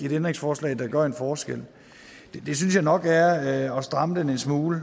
et ændringsforslag der gør en forskel det synes jeg nok er at stramme den en smule